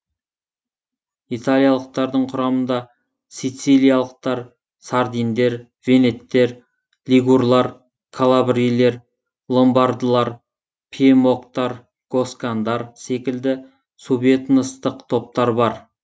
италиялықтардың құрамында сицилиялықтар сардиндер венеттер лигурлар калабрилер ломбардылар пьемокттар госкандар секілді субэтностық топтар бар